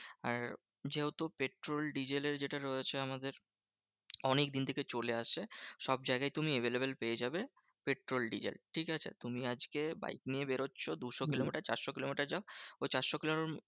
আর যেহেতু পেট্রল ডিজেলের যেটা রয়েছে আমাদের অনেকদিন থেকে চলে আসছে। সবজায়গায় তুমি available পেয়ে যাবে পেট্রল ডিজেল, ঠিকাছে? তুমি আজকে বাইক নিয়ে বেরোচ্ছো দুশো কিলোমিটার চার শো কিলোমিটার যাও ওই চারশো কিলোমিটার